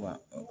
Wa